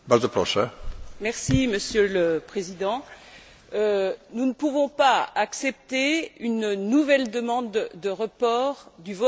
Monsieur le Président, nous ne pouvons pas accepter une nouvelle demande de report du vote sur ce rapport.